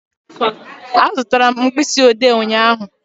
Azụtara m mkpịsị odee ụnyaahụ